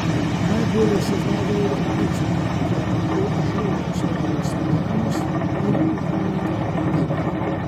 Najbolje se znajdejo v poklicih, kjer lahko izživljajo svojo ustvarjalnost, in v humanitarnih delih.